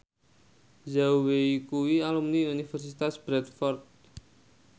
Zhao Wei kuwi alumni Universitas Bradford